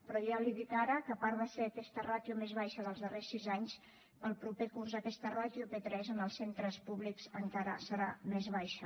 però ja li dic ara que a part de ser aquesta ràtio la més baixa dels darrers sis anys per al proper curs aquesta ràtio a p3 en els centres públics encara serà més baixa